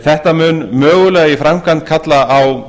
þetta mun mögulega í framkvæmd kalla á